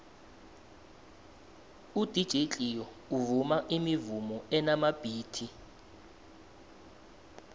udj cleo uvuma imivumo enamabhithi